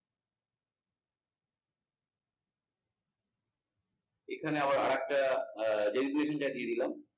এখানে আবার আরেকটা দিয়ে দিলাম।